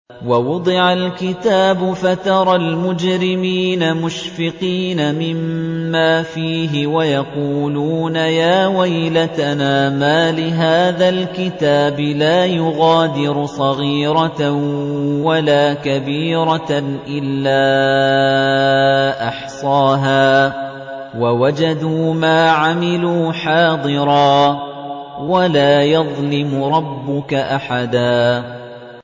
وَوُضِعَ الْكِتَابُ فَتَرَى الْمُجْرِمِينَ مُشْفِقِينَ مِمَّا فِيهِ وَيَقُولُونَ يَا وَيْلَتَنَا مَالِ هَٰذَا الْكِتَابِ لَا يُغَادِرُ صَغِيرَةً وَلَا كَبِيرَةً إِلَّا أَحْصَاهَا ۚ وَوَجَدُوا مَا عَمِلُوا حَاضِرًا ۗ وَلَا يَظْلِمُ رَبُّكَ أَحَدًا